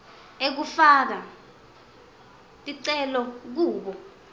ekufaka ticelo kubo